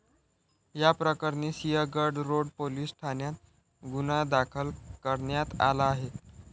याप्रकरणी Sinhagad road police ठाण्यात गुन्हा दाखल करण्यात आला आहे.